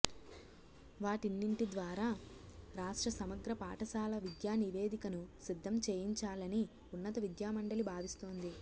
వాటిన్నింటి ద్వారా రాష్ట్ర సమగ్ర పాఠశాల విద్యా నివేదికను సిద్ధం చేయించాలని ఉన్నత విద్యామండలి భావిస్తోంది